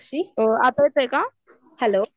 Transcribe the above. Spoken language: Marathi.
आता येतोय का?